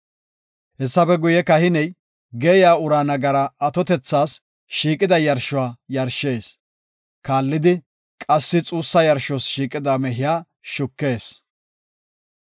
Hessafe guye kahiney geeyiya uraa nagara atotethas shiiqida yarshuwa yarshees; kallidi qassi xuussa yarshos shiiqida mehiya shukees.